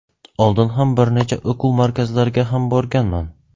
Oldin ham bir necha o‘quv markazlariga ham borganman.